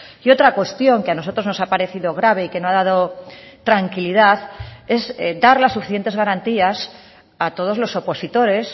y otra cuestión que a nosotros nos ha parecido grave y que no ha dado tranquilidad es dar las suficientes garantías a todos los opositores